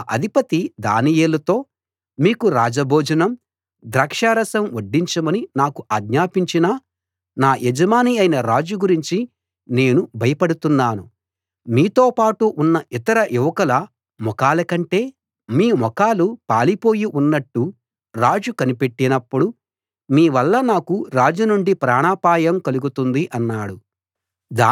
ఆ అధిపతి దానియేలుతో మీకు రాజ భోజనం ద్రాక్షారసం వడ్డించమని నాకు ఆజ్ఞాపించిన నా యజమానియైన రాజు గురించి నేను భయపడుతున్నాను మీతోపాటు ఉన్న ఇతర యువకుల ముఖాల కంటే మీ ముఖాలు పాలిపోయి ఉన్నట్టు రాజు కనిపెట్టినప్పుడు మీవల్ల నాకు రాజునుండి ప్రాణాపాయం కలుగుతుంది అన్నాడు